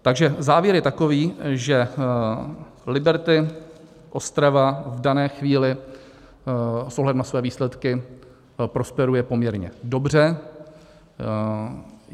Takže závěr je takový, že Liberty Ostrava v dané chvíli s ohledem na své výsledky prosperuje poměrně dobře.